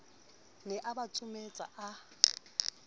ne a ba tsometsa a